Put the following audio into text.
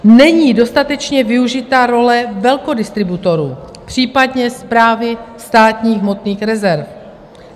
Není dostatečně využita role velkodistributorů, případně správy státních hmotných rezerv.